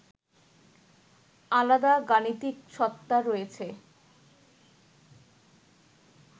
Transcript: আলাদা গাণিতিক সত্তা রয়েছে